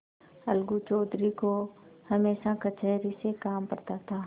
अलगू चौधरी को हमेशा कचहरी से काम पड़ता था